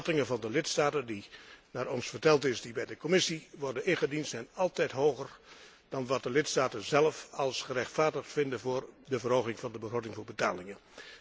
De schattingen van de lidstaten die, naar ons verteld is, bij de Commissie worden ingediend, zijn altijd hoger dan wat de lidstaten zelf gerechtvaardigd vinden voor de verhoging van de begroting voor de betalingen.